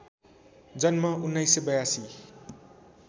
जन्म १९८२